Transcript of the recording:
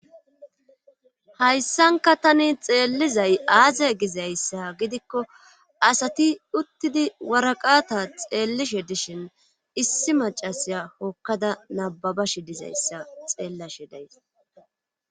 hayssanka tani xeellizay aaze gizayssa gidikko asati uttidi waraqata xeellishe dishin issi macasiya hokkada nababashe dizayssa xeellashe days.